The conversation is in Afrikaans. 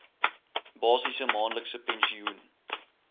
basiese maandelikse pensioen